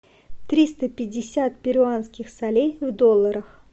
триста пятьдесят перуанских солей в долларах